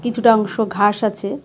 কিছুটা অংশ ঘাস আছে .